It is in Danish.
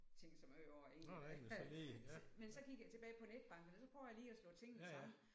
Tænke så meget over egentlig hvad men så gik jeg tilbage på netbank og så prøvede jeg lige at slå tingene sammen